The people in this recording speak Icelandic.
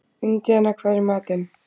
Indía, hvað er í matinn?